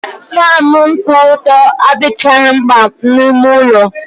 Faanụ nkwụ ọtọ adịchaghị mkpa n'ime ụlọ.